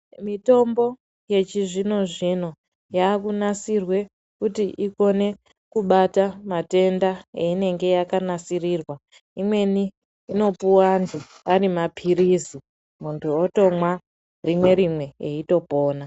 Mitombo yechizvino zvino yakanasirwa kuti ikone kubata matenda einenge yakanasirirwa imweni inopuwa antu arimapirizi muntu aotomwa rimwe rimwe eitopona.